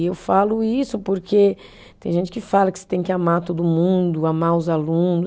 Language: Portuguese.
E eu falo isso porque tem gente que fala que você tem que amar todo mundo, amar os alunos.